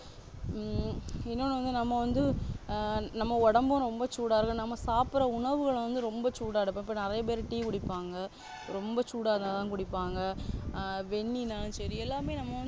ஹம் இன்னும் வந்து நம்ம வந்து ஆஹ் நம்ம உடம்பும் ரொம்ப சூடா இருக்கும் நம்ம சாப்பிடுற உணவுகள் வந்து ரொம்ப சூடா எடுப்போம் இப்போ நிறைய பேரு tea குடிப்பாங்க ரொம்ப சூடா இருந்தாதான் குடிப்பாங்க ஆஹ் வெந்நீர் தான் சரி எல்லாமே நம்ம வந்து